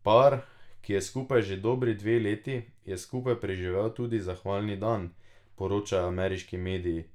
Par, ki je skupaj že dobri dve leti, je skupaj preživel tudi zahvalni dan, poročajo ameriški mediji.